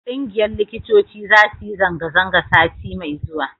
ƙungiyar likitoci za su yi zanga-zanga sati mai zuwa